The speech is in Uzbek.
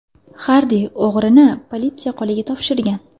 Xardi o‘g‘rini politsiya qo‘liga topshirgan.